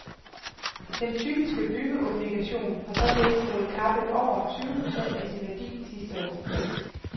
Den typiske byggeobligation har således fået kappet over tyve procent af sin værdi sidste år.